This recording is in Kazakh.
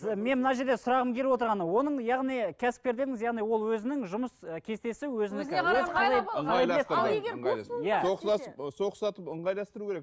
мен мына жерде сұрағым келіп отырғаны оның яғни кәсіпкер дедіңіз яғни ол өзінің жұмыс ы кестесі өзінікі сол ұқсатып ыңғайластыру керек